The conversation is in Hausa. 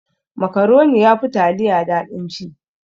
Makaroni yafi taliya daɗin ci.